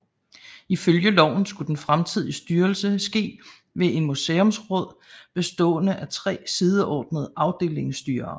Ifølge loven skulle den fremtidige styrelse ske ved et museumsråd bestående af tre sideordnede afdelingsstyrere